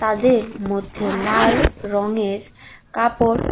তাদের মধ্যে লাল রঙের কাপড়--